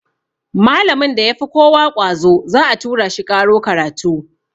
Malamin da ya fi kowa ƙwazo za a tura shi ƙaro karatu.